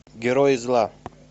герои зла